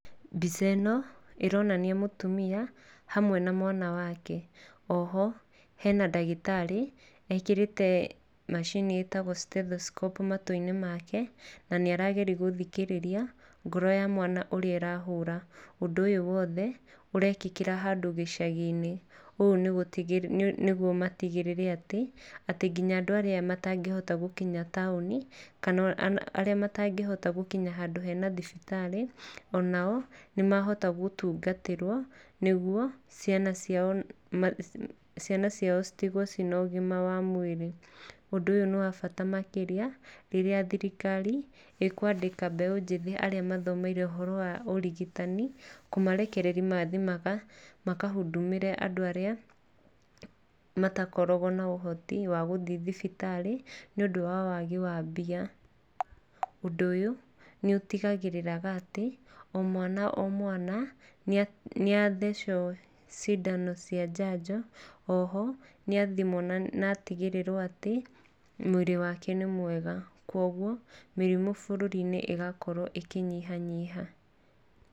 Mbica ĩno ĩronania mũtumia hamwe na mwana wake. Oho hena ndagĩtarĩ ekĩrĩte macini ĩtagwo stethoscope matũinĩ make, na nĩ arageria gũthikĩrĩria ngoro ya mwana ũrĩa ĩrahũra. Ũndũ ũyu wothe, ũrekĩkĩra handũ gĩcagiinĩ. Ũũ nĩguo matigĩrĩre atĩ nginya andũ arĩa matangĩhota gũkinya taoni, kana arĩa matangĩhota gũkinya handũ hena thibitarĩ, o nao nĩ mahota gũtũngatĩrwo nĩguo ciana ciao, ciana ciao citigwo cina ũgima wa mwĩrĩ. Ũndũ ũyũ nĩ wa bata makĩria rĩrĩa thirikari ĩkwandĩka mbeu njĩthĩ arĩa mathomeire ũhoro wa ũrigitani kũmarekereria mathiĩ makahundumĩre andũ arĩa matakoragwo na ũhoti wa gũthiĩ thibitarĩ nĩ ũndũ wa wagi wambia. Ũndũ ũyũ nĩ ũtigagirĩra atĩ o mwana, o mwana, nĩ athecwo cindano cia njanjo. Oho, nĩ athimwo na atigĩrĩrwo atĩ mwĩrĩ wake nĩ mwega. Koguo, mĩrĩmu bũrũri-inĩ ĩgakorwo ĩkĩnyihanyiha.